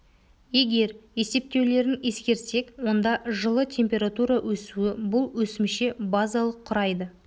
егер есептеулерін ескерсек онда жылы температура өсуі бұл өсімше базалық құрайды